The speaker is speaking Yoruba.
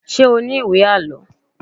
Ṣé o ní ìwé àlọ́?